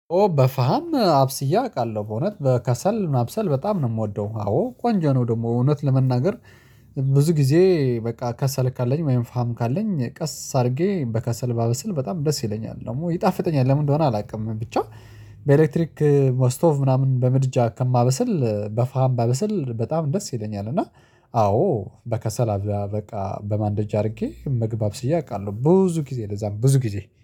ኦ በፋም አብስየ አውቃለሁ። በእውነት በከሰል ማብሰል በጣም ነው የምወደው። አዎ ቆንጃ ነው ደግሞ እውነት ለመናገር። ብዙ ጊዜ በቃ ከሰል ካለኝ ፋም ካለኝ ቀስ አድርጌ በከሰል ባበስል በጣም ደስ ይለኛል። ደግሞ ይጣፍጠኛል ለምን እንደሆነ አላውቅም። ብቻ በኤሌክትሪክ በስቶቭ ምናምን በምድጃ ከማበስል በፋም ባበሰል በጣም ደስ ይለኛል። እና አዎ በከሰላል በቃ በማንደጃ አድርጌ ምግብ አብስዬ አውቃለሁ። ብዙ ጊዜ ለዛውም ብዙ ጊዜ